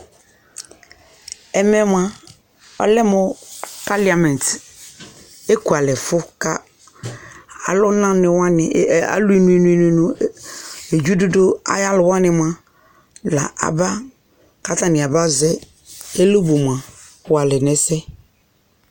Ɛmɛ mʋa ɔlɛmʋ kalɩɛment ɛkʋalɛfʋ ka alʋnanɩwanɩ alʋɩnʋ nʋ nʋ dzɩɖʋɖʋ ayalʋwanɩ mʋa la aba ka atanɩa ba zɛ ɛlʋbʋ mʋa walɛ nɛsɛ